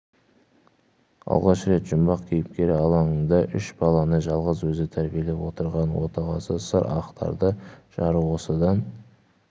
алғаш рет жұмбақ кейіпкер алаңында үш баланы жалғыз өзі тәрбиелеп отырған отағасы сыр ақтарды жары осыдан